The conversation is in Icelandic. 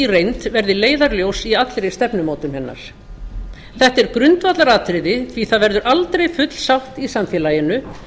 reynd verði leiðarljós í allri stefnumótun hennar þetta er grundvallaratriði því það verður aldrei full sátt í samfélaginu